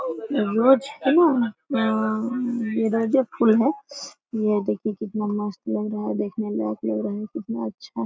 रोज है न ऑंऽऽ रोजे फूल है। ये देखिए कितना मस्त लग रहा है देखने में कितना अच्छा --